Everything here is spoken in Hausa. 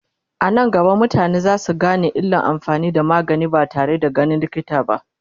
anan gaba mutane zasu Gane illan amfani da magani ba tare da ganin likita ba